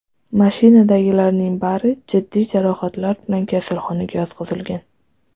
Mashinadagilarning bari jiddiy jarohatlar bilan kasalxonaga yotqizilgan.